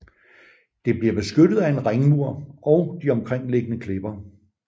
Det bliver beskyttet af en ringmur og de omkringliggende klipper